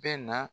Bɛ na